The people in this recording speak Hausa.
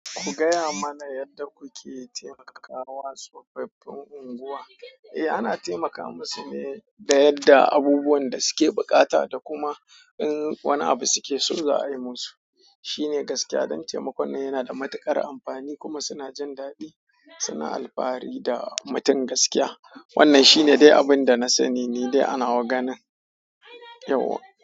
Ku gaya mana yadda kuke taimakawa tsofaffin unguwa? Eh, ana taimakawa masu ne da yadda abubuwan da suke buƙata da kuma in wani abu suke so za a yi musu. Shi ne gaskiya don taimakon nan yana da matuƙar amfani kuma suna jin daɗi, suna alfahari da mutum gaskiya. Wannan shi ne dai abin da na sani ne dai ana wa ganin. Yau.